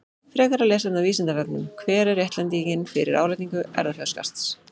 Frekara lesefni á Vísindavefnum: Hver er réttlætingin fyrir álagningu erfðafjárskatts?